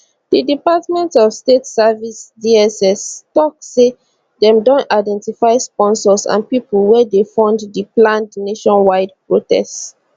di department of state services dsstok say dem don identify sponsors and pipo wey dey fund di planned nationwide protest